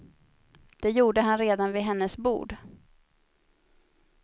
Det gjorde han redan vid hennes bord.